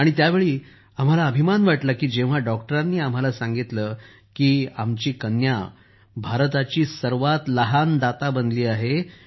आणि त्यावेळी आम्हाला अभिमान वाटला की जेव्हा डॉक्टरांनी आम्हाला सांगितलं की आपली कन्या भारताची सर्वात लहान दाता बनली आहे